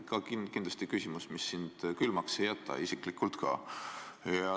See on kindlasti küsimus, mis sind külmaks ei jäta, isiklikult ka.